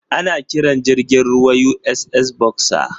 Ana kiran jirgin ruwan USS Boxer.